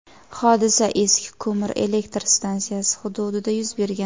Hodisa eski ko‘mir elektr stansiyasi hududida yuz bergan.